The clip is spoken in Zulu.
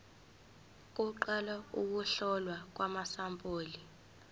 kuqala ukuhlolwa kwamasampuli